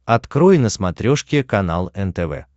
открой на смотрешке канал нтв